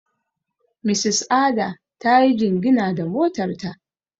Mrs Ada ta yi jingina da motar ta.